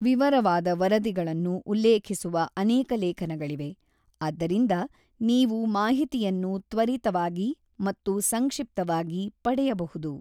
ವಿವರವಾದ ವರದಿಗಳನ್ನು ಉಲ್ಲೇಖಿಸುವ ಅನೇಕ ಲೇಖನಗಳಿವೆ, ಆದ್ದರಿಂದ ನೀವು ಮಾಹಿತಿಯನ್ನು ತ್ವರಿತವಾಗಿ ಮತ್ತು ಸಂಕ್ಷಿಪ್ತವಾಗಿ ಪಡೆಯಬಹುದು.